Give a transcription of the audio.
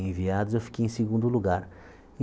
enviados, eu fiquei em segundo lugar.